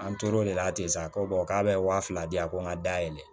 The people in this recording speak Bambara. An tor'o de la ten sa a ko k'a bɛ wa fila di yan a ko n ka da yɛlɛ